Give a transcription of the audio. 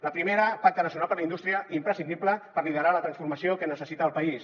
la primera pacte nacional per a la indústria imprescindible per liderar la transformació que necessita el país